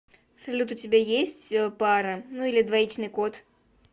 салют у тебя есть пара ну или двоичный код